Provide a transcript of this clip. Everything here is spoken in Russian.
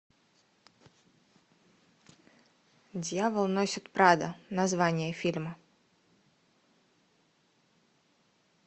дьявол носит прада название фильма